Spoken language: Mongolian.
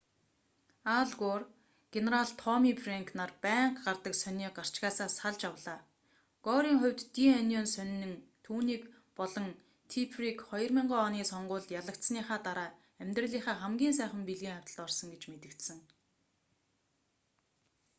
ал гор генерал томми фрэнк нар байнга гардаг сонины гарчгаасаа салж авлаа горын хувьд ди онион сонин түүнийг болон типперийг 2000 оны сонгуульд ялагдсаныхаа дараа амьдралынхаа хамгийн сайхан бэлгийн хавьталд орсон гэж мэдэгдсэн